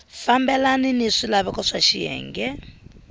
fambelani ni swilaveko swa xiyenge